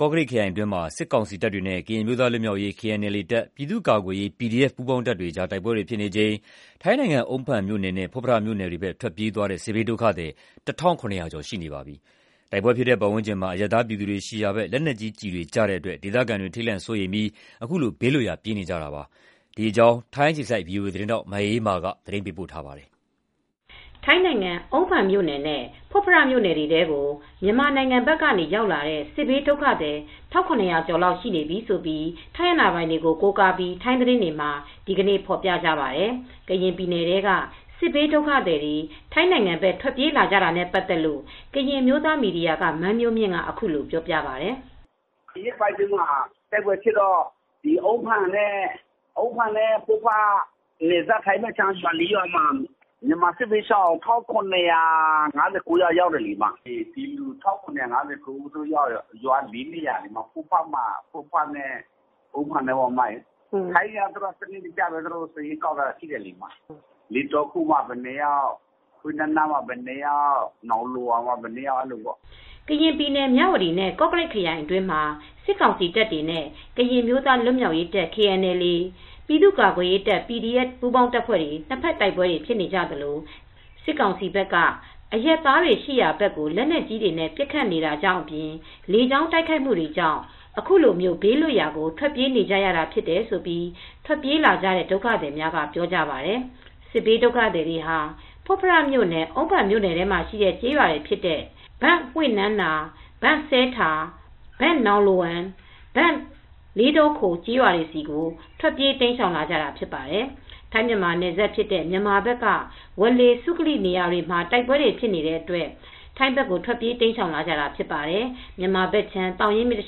ကော့ကရိတ်ခရိုင်အတွင်းမှာ စစ်ကောင်စီတပ်တွေနဲ့ ကရင်အမျိုးသားလွတ်မြောက်ရေး KNLA တပ်၊ ပြည်သူကာကွယ်ရေး PDF ပူးပေါင်းတပ်တွေကြား နှစ်ဘက်တိုက်ပွဲတွေဖြစ်နေချိန်မှာ ထိုင်းနိုင်ငံ အုန်းဖန်မြိုနယ်နဲ့ ဖွတ်ဖရမြို့နယ်တွေဘက် ပြေးလာကြ စစ်ဘေးဒုက္ခသည် ၁,၇၀၀ ကျော်ရှိနေပါပြီ။ တိုက်ပွဲဖြစ် တဲ့ပတ်ဝန်းကျင်မှာ အရပ်သားပြည်သူတွေရှိရာဘက် လက်နက်ကြီးကျည်တွေကျတဲ့နေတာကြောင့် ဒေသခံတွေ ထိန်လန့်စိုးရိမ်ပြီး ခုလို ဘေးလွတ်ရာ ပြေးနေကြတာဖြစ်ပါတယ်။ ဒီသတင်းကို ထိုင်းအခြေစိုက် ဗွီအိုအေ သတင်းထောက် မအေးအေးမာက သတင်းပေးပို့ထားပါတယ်။ ထိုင်းနိုင်ငံ အုန်းဖန်မြို့နယ်နဲ့ ဖွတ်ဖရမြို့နယ်တွေထဲကို မြန်မာနိုင်ငံဘက်ကရောက်လာတဲ့ စစ်ဘေးဒုက္ခသည် ၁,၇၀၀ ကျော်ရှိနေပြီလို့ ထိုင်းအာဏာပိုင်တွေကို ကိုးကားပြီး ထိုင်းသတင်းတွေမှာ ဒီနေ့ ဖော်ပြကြပါတယ်။ ကရင်ပြည်နယ်ထဲက စစ်ဘေးဒုက္ခသည်တွေ ထိုင်းနိုင်ငံဘက် ထွက်ပြေးလာကြတဲ့အခြေအနေကို ကရင်အမျိုးသားမီဒီယာက မန်းမျိုးမြင့်က အခုလို ပြောပြပါတယ်။ “ဒီရက်ပိုင်းအတွင်းမှာတိုက်ပွဲဖြစ်တော့ အုန်းဖန်နဲ့ ဖွတ်ဖရမြို့နယ်ထဲမှာ ထိုင်းနယ်စပ်ဘက်နဲ့နီးတော့ မြန်မာစစ်ဘေးရှောင် ၁,၇၅၉ ယောက် ရောက်တယ်။ အုန်းဖန်နဲ့ ဖွတ်ဖရထဲက ရွာအသီးသီးမှာတော့ ထိုင်းတွေကတော့ စနစ်တကျ စာရင်းကောက်ထားတာရှိတယ်။ လေးတောခိုမှာ ဘယ်နှစ်ယောက်၊ ဟွေ့နမ်နာမှာ ဘယ်နှစ်ယောက်။ နောင်လိုဝမ်မှာ ဘယ်နှစ်ယောက် အဲဒီလိုပေါ့။” ကရင်ပြည်နယ်၊ မြဝတီနဲ့ ကော့ကရိတ်ခရိုင်အတွင်းမှာ စစ်ကောင်စီတပ်တွေနဲ့ ကရင်အမျိုးသားလွတ်မြောက်ရေး KNLA တပ်၊ ပြည်သူကာကွယ်ရေး PDF ပူးပေါင်းတပ်ဖွဲ့တွေ ၂ ဘက်တိုက်ပွဲတွေဖြစ်နေသလို စစ်ကောင်စီဘက် က အရပ်သားတွေရှိရာဘက် လက်နက်ကြီးတွေ ပစ်ခတ်နေတာကြောင့်အပြင် လေကြောင်းတိုက်ခိုက်မှုတွေကြောင့် ခုလိုဘေးလွတ်ရာ ထွက်ပြေးနေကြတာဖြစ်တယ်လို့ ထွက်ပြေးလာကြတဲ့ ဒုက္ခသည်အများအပြားက ပြောကြပါတယ်။ စစ်ဘေးဒုက္ခသည်တွေဟာ ဖွတ်ဖရမြို့နယ်နဲ့ အုန်းဖန်မြို့နယ်ထဲမှာရှိတဲ့ ဘန့်ဟွေ့နမ့်နာ၊ ဘန့်စဲထာ့၊ ဘန့်နောင် လိုဝမ်၊ ဘန့်လေးတောခို့ စတဲ့ ကျေးရွာတွေဆီကို ထွက်ပြေး တိမ်းရှောင်လာကြတာဖြစ်ပါတယ်။ ထိုင်းမြန်မာနယ်စပ်ဖြစ်တဲ့ မြန်မာဘက်က ဝေါ်လေ၊ စုကလီ စတဲ့နေရာတွေမှာ တိုက်ပွဲတွေဖြစ်တဲ့အတွက် ထိုင်းဘက်ကို ထွက်ပြေးတိမ်းရှောင်လာကြတာဖြစ်ပါတယ်။ မြန်မာနိုင်ငံဘက်ခြမ်း သောင်ရင်းမြစ်တ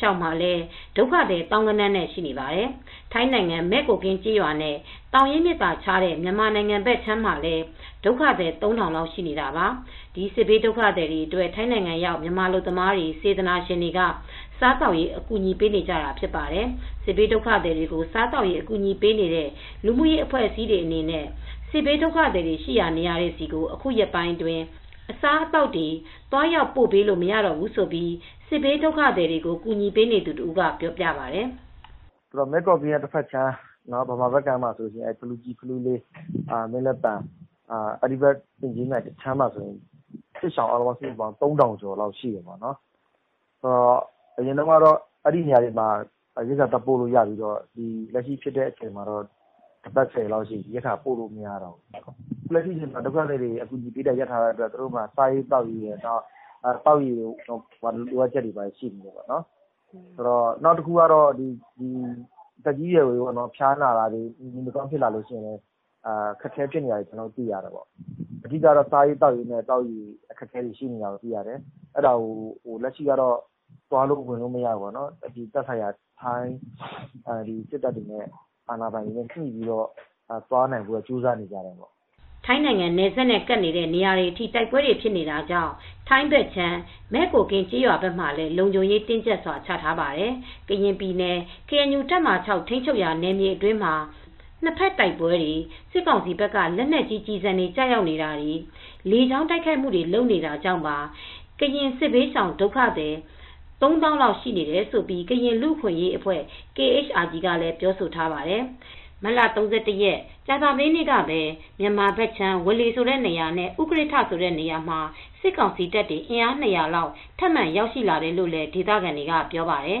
လျောက်မှာလည်း ဒုက္ခသည် သောင်းဂဏန်းနဲ့ရှိနေပါတယ်။ ထိုင်းနိုင်ငံ မယ့်ကိုကင်းကျေးရွာနဲ့ သောင်ရင်းမြစ်သာခြားတဲ့ မြန်မာနိုင်ငံဘက် အခြမ်းမှာလည်း ဒုက္ခသည် ၃ ထောင်လောက်ရှိနေတာပါ။ ဒီစစ်ဘေးဒုက္ခသည်အတွက် ထိုင်းနိုင်ငံရောက် မြန်မာအလုပ်သမားတွေ၊ စေတနာရှင်တွေက စားသောက်ရေး အကူအညီပေးနေကြတာ ဖြစ်ပါတယ်။ စစ်ဘေးဒုက္ခသည်တွေကို စားသောက်ရေးအကူညီပေးတဲ့ လူမူရေးအဖွဲ့အစည်းတွေအနေနဲ့ စစ်ဘေးဒုက္ခသည် တွေရှိတဲ့နေရာတွေဆီ အခုရက်ပိုင်း အစာအသောက်တွေ သွားရောက်ပို့ပေးလို့ မရတော့ဘူးလို့ စစ်ဘေးဒုက္ခသည်တွေကို အကူညီပေးနေသူတဦးက ပြောပါတယ်။ “မဲ့ကိုကင်းရဲ့တဘက်ခြမ်း မြန်မာဘက်မှာဆိုလို့ရှိရင် ဖလူလေး တောင်ခြေ၊ မင်းလက်ပံ၊ အင်ကြင်းမြိုင်ဘက်မှာ စစ်ဘေးရှောင် ၃ ထောင်လောက်ရှိတယ်။ အရင်တုန်းကတော့ အဲဒီဘက်ခြမ်းကလူတွေအတွက် စားနပ်ရိက္ခာတွေ ပို့လို့ရပေမယ့် အခုတော့ တပတ် ဆယ်ရက်လောက်ရှိပြီ၊ စားစရာတွေ သွားပို့လို့ မရဘူး။ လက်ရှိမှာက စစ်ဘေးရှောင်ဒုက္ခသည်တွေက စာစရာနဲ့ သောက်ရေတွေ လိုအပ်တယ်။ သက်ကြီးရွယ်အိုတွေအတွက် ဖျားနာတဲ့အခါ အခက်အခဲတွေဖြစ်တယ်။ ဆေးဝါးတွေ လိုအပ်ပါတယ်။ စားရေးသောက်ရေးနဲ့ သောက်ရေတွေ လိုနေကြတာ ရှိတယ်။ အခုတော့ ထိုင်းအာဏာပိုင်တွေ ထိုင်းစစ်တပ်တွေနဲ့ ညှိနှိုင်းပြီး သွားလာဖို့တော့ လုပ်နေကြပါတယ်။” ထိုင်းနိုင်ငံနယ်စပ်နဲ့ကပ်နေတဲ့နေရာတွေအထိ တိုက်ပွဲတွေဖြစ်နေတာကြောင့် ထိုင်းဘက်ခြမ်း မဲ့ကိုကင်ကျေးရွာဘက်မှာလည်း လုံခြုံရေးတင်းကြပ်စွာ ချထားပါတယ်။ ကရင်ပြည်နယ် KNU တပ်မဟာ ထိန်းချုပ်ရာနယ်မြေအတွင်းမှာ နှစ်ဘက်တိုက်ပွဲတွေ၊ စစ်ကောင်စီဘက်က လက်နက်ကြီးကျည်ဆံတွေ ကျရောက်နေတာတွေ၊ လေကြောင်းက တိုက်ခိုက်နေတာတွေကြောင့်ပါ ကရင်စစ်ဘေးရှောင် ၃ သောင်းလောက်အထိ ရှိနေတယ်လို့ ကရင်လူအခွင့်ရေးအဖွဲ့KHRG ကလည်းပြောဆိုထားပါတယ်။ မတ်လ ၃၁ ရက်၊ ကြာသပတေးနေ့ကပဲ မြန်မာဘက်ခြမ်း ဝေါလေနေရာနဲ့ ဥကရစ်ထ ဆိုတဲ့နေရာမှာ စစ်ကောင်စီတပ်တွေ အင်အား ၂၀၀ လောက် ထပ်မံရောက်ရှိလာတယ်လို့လည်း ဒေသခံတွေက ပြောပါတယ်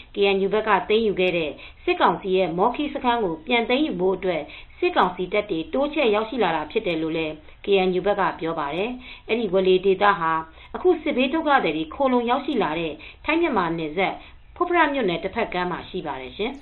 ။ KNU ဘက်က သိမ်းယူခဲ့တဲ့ စစ်ကောင်စီရဲ့ မောခီးစခန်းကို ပြန်သိမ်းယူဖို့အတွက် စစ်ကောင်စီတပ်တွေ တိုးချဲ့ရောက် ရှိလာတာဖြစ်တယ်လို့ KNU ကပြောပါတယ်။ အဲဒီဝေါ်လေဒေသဟာ အခု စစ်ဘေးဒုက္ခသည်တွေ ခိုလှုံရောက်ရှိလာတဲ့ ထိုင်းမြန်မာနယ်စပ် ဖွတ်ဖရမြို့နယ် တဘက်ကမ်းမှာ ရှိပါတယ်ရှင်။